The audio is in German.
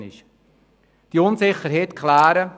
Es braucht Zeit, diese Unsicherheit zu klären.